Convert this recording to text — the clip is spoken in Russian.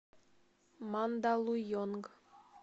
мандалуйонг